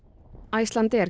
Icelandair